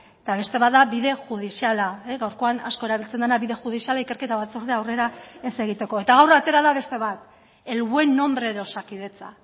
eta beste bat da bide judiziala gaurkoan asko erabiltzen dena bide judiziala ikerketa batzordea aurrera ez egiteko eta gaur atera da beste bat el buen nombre de osakidetza